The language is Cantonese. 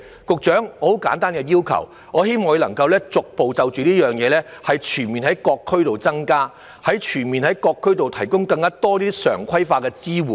局長，我只有很簡單的要求，我希望就這一點當局可以逐步全面地在各區提供更多常規化的支援。